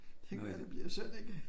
Det kan være det bliver sådan en